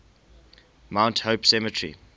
mount hope cemetery